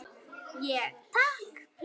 Ég: Takk.